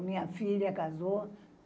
A minha filha casou.